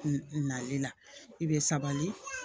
Nali la i bɛ sabali